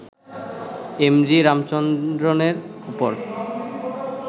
M G রামচন্দ্রনের ওপর